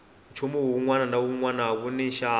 nchumu wunwana na wunwana wuni nxavo